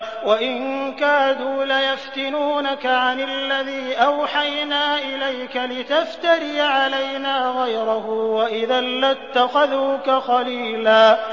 وَإِن كَادُوا لَيَفْتِنُونَكَ عَنِ الَّذِي أَوْحَيْنَا إِلَيْكَ لِتَفْتَرِيَ عَلَيْنَا غَيْرَهُ ۖ وَإِذًا لَّاتَّخَذُوكَ خَلِيلًا